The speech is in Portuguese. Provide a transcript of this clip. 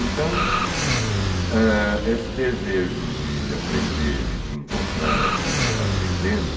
Então, esse desejo de aprender e de encontrar a vida aprendendo,